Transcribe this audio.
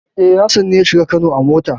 E, Hassan ne ya shiga Kano a mota.